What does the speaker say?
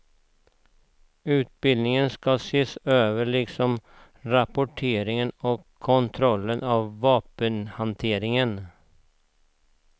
Utbildningen ska ses över liksom rapporteringen och kontrollen av vapenhanteringen.